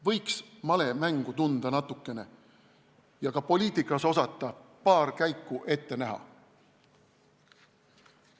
Võiks natukene malemängu tunda ja ka poliitikas osata paar käiku ette näha.